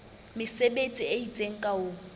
mesebetsi e itseng ka ho